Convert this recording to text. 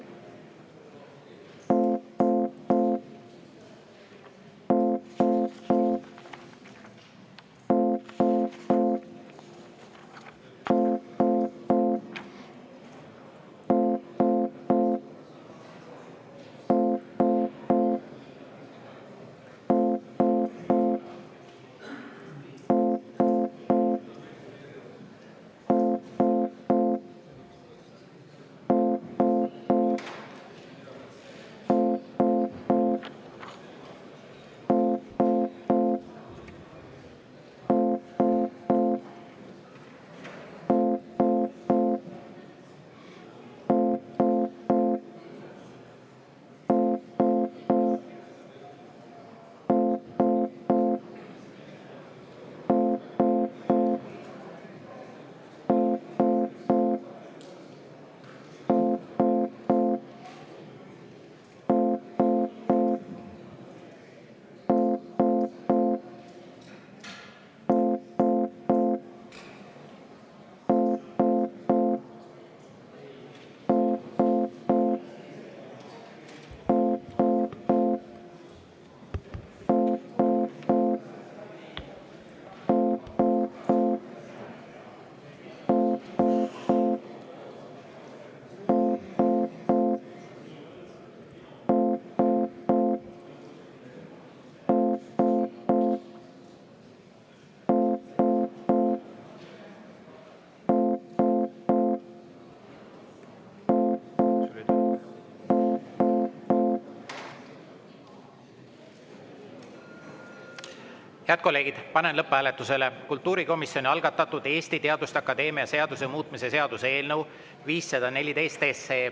Head kolleegid, panen lõpphääletusele kultuurikomisjoni algatatud Eesti Teaduste Akadeemia seaduse muutmise seaduse eelnõu 514.